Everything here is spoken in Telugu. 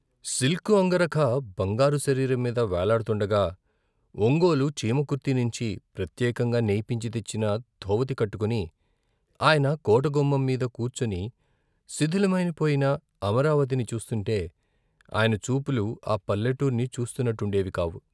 సిల్కు అంగరఖా బంగారు శరీరంమీద వేలాడుతుండగా ఒంగోలు, చీమకుర్తినించి ప్రత్యే కంగా నేయింపించి తెచ్చిన ధోవతి కట్టుకుని ఆయన కోట గుమ్మంమీద కూర్చుని శిథిలమై పోయిన అమరావతిని చూస్తుంటే ఆయన చూపులు ఆ పల్లెటూర్ని చూస్తున్నట్టుండేవికావు.